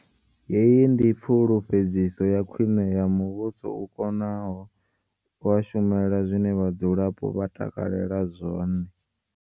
Heyi ndi pfu lufhedziso ya khwiṋe ya muvhuso u konaho une wa shumela zwine vhadzulapo vha takalela zwone.